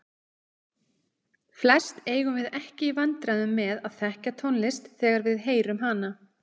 Flest eigum við ekki í vandræðum með að þekkja tónlist þegar við heyrum hana.